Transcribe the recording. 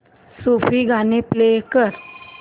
सूफी गाणी प्ले कर